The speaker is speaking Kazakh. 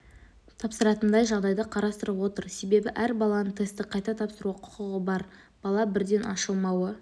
тапсыратындай жағдайды қарастырып отыр себебі әрбір баланың тестті қайта тапсыруға құқығы бар бала бірден ашылмауы